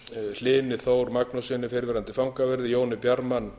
hlyni þór magnússyni fyrrverandi fangaverði jóni bjarman